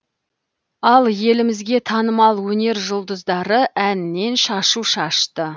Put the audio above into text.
ал елімізге танымал өнер жұлдыздары әннен шашу шашты